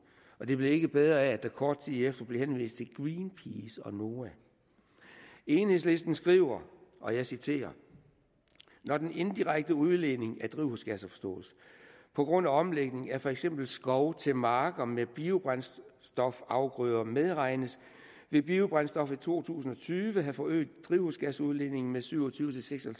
og det blev ikke bedre af at der kort tid efter blev henvist til greenpeace og noah enhedslisten skriver og jeg citerer når den indirekte udledning af drivhusgasser forstås på grund af omlægning af for eksempel skov til marker med biobrændstofafgrøder medregnes vil biobrændstof i to tusind og tyve have forøget drivhusgasudledningen med syv og tyve til seks og